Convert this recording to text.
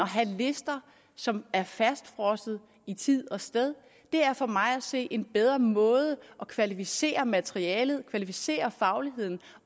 have lister som er fastfrosset i tid og sted og det er for mig at se en bedre måde at kvalificere materialet kvalificere fagligheden